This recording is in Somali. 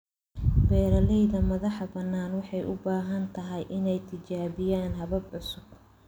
Beeralayda madaxbannaan waxay u badan tahay inay tijaabiyaan habab cusub.